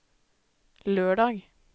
lørdag